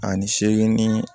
Ani seegin